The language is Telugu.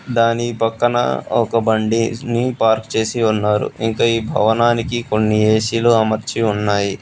దాని పక్కన ఒక బండేజ్ ని పార్కు చేసి ఉన్నారు ఇంకా ఈ భవానికి కొన్ని ఏ_సీలు అమర్చి ఉన్నాయి.